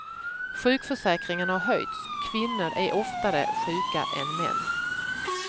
Sjukförsäkringen har höjts, kvinnor är oftare sjuka än män.